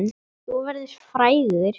Þú verður frægur!